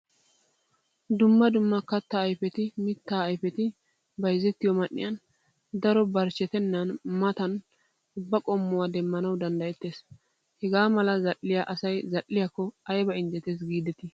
Dumma dumma katta ayfetti, mitta ayfetti bayzzettiyo man'iyan daro barchchettenan matan ubba qommuwaa demmanawu danddayettees. Hagaa mala za'iya asay zal'iyakko ayba injjetes gideti.